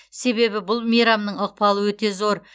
себебі бұл мейрамның ықпалы өте зор